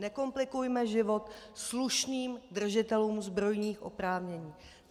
Nekomplikujme život slušným držitelům zbrojních oprávnění!